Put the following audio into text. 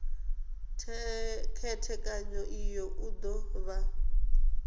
khethekanyo iyi u do vha